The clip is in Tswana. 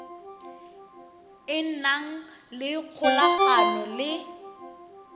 e nang le kgolagano le